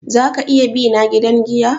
Za ka iya bina gidan giya?